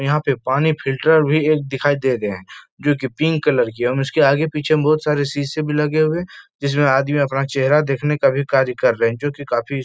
यहाँ पे पानी फ़िल्टर भी एक दिखाई दे रहे है जोकि पिंक कलर की हम उसके आगे- पीछे में बोहोत सारे से शीशे भी लगे हुए है जिसमें आदमी अपना चेहरा देखने का भी कार्य कर रहे है जोकि काफी --